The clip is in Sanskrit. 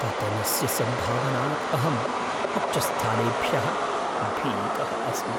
पतनस्य सम्भावनात् अहम् उच्चस्थानेभ्यः भीतः अस्मि।